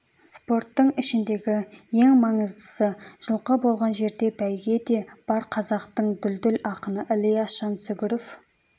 спорттың ішіндегі ең маңыздысы жылқы болған жерде бәйге де бар қазақтың дүлділ ақыны ілияс жансүгіров